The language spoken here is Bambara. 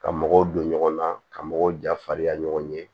Ka mɔgɔw don ɲɔgɔn na ka mɔgɔw jafarinya ɲɔgɔn ye